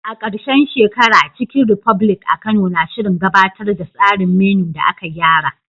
A ƙarshen shekara, Chicken republic a Kano na shirin gabatar da tsarin menu da aka gyara.